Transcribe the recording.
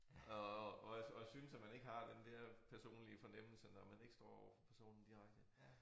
Og og hvad og synes at man ikke har den der personlige fornemmelse når man ikke står overfor personen direkte